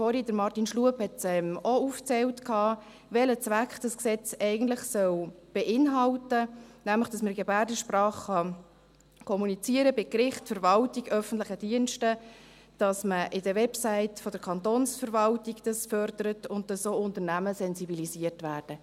Auch Martin Schlup hat vorhin aufgezählt, welchen Zweck dieses Gesetz eigentlich beinhalten soll, nämlich, dass man beim Gericht, der Verwaltung, öffentlichen Diensten in Gebärdensprache kommunizieren kann, dass man das auf den Websites der Kantonsverwaltung fördert und dass auch Unternehmen sensibilisiert werden.